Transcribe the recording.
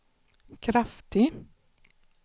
kraftig